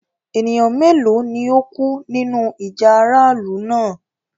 Ẹ̀nìyàn méloo ni o kú nínu ìjà aráàlù náà?